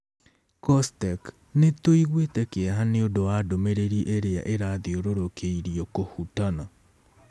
COSTECH:Nĩ tũiguĩte kĩeha nĩ ũndũ wa ndũmĩrĩri ĩrĩa ĩrathiũrũrũkĩirio KŨHUTANA